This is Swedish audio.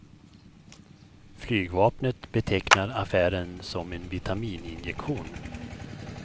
Flygvapnet betecknar affären som en vitaminjektion.